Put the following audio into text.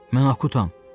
Mən Akutam.